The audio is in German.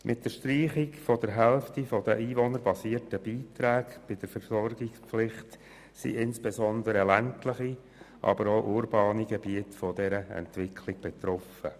Mit der Streichung der Hälfte der einwohnerbasierten Beiträge bei der Versorgungspflicht sind insbesondere ländliche, aber auch urbane Gebiete von dieser Entwicklung betroffen.